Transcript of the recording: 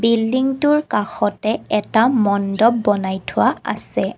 বিল্ডিংটোৰ কাষতে এটা মণ্ডপ বনাই থোৱা আছে।